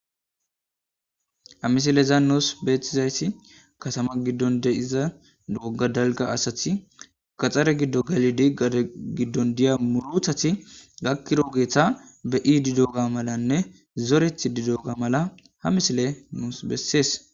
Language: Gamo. amisileza nuus beetizayssi kasama giddon de7iza dooga dalga asathi kaxxare giddo galidi gada giddon diya muruthati gakkiroogeetha be7i didooga malanne zoreth didooga mala ha misile nuus bessees